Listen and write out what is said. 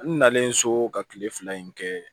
N nalen so ka kile fila in kɛ